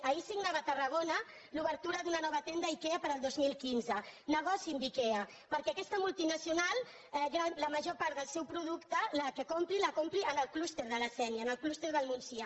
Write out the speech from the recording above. ahir signava a tarrago·na l’obertura d’una nova tenda ikea per al dos mil quinze nego·ciï amb ikea perquè aquesta multinacional la major part del seu producte el compri en el clúster de la sé·nia en el clúster del montsià